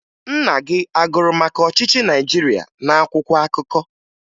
Nna gị a gụrụ maka ọchịchị Naịjirịa n'akwụkwọ akụkọ?